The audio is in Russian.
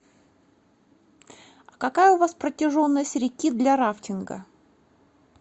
какая у вас протяженность реки для рафтинга